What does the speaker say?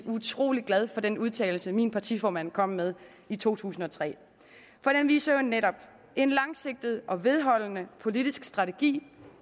utrolig glad for den udtalelse min partiformand kom med i to tusind og tre for den viser jo netop en langsigtet og vedholdende politisk strategi